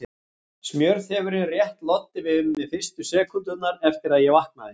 Smjörþefurinn rétt loddi við mig fyrstu sekúndurnar eftir að ég vaknaði.